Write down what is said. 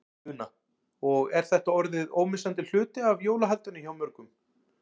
Una: Og er þetta orðið ómissandi hluti af jólahaldinu hjá mörgum?